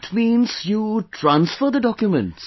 That means you transfer the documents